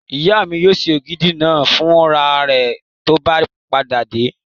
Ìyá mi yóò ṣe ògidì náà fún ra rẹ̀ tó bá padà dé